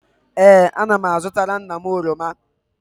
Ee, ana m azụtara nna m oroma